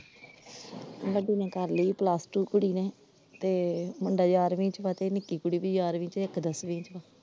ਵੱਡੀ ਨੇ ਕਰਲੀ plus two ਕੁੜੀ ਨੇ, ਤੇ ਮੁੰਡਾ ਯਾਰਵੀ ਚ ਵਾ ਤੇ ਨਿੱਕੀ ਕੁੜੀ ਵੀ ਯਾਰਵੀ ਚ ਇੱਕ ਦਸਵੀਂ ਚ।